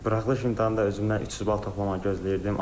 Buraxılış imtahanda özümdən 300 bal toplamağa gözləyirdim.